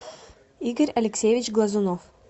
игорь алексеевич глазунов